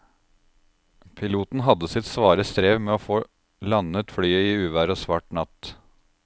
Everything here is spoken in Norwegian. Piloten hadde sitt svare strev med å få landet flyet i uvær og svart natt.